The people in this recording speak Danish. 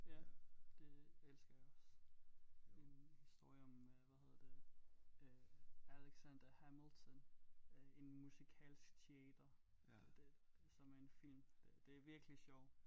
Ja det elsker jeg også en ny historie om hvad hedder det øh Alexander Hamilton øh en musikalsk teater det det som er en film det er virkelig sjov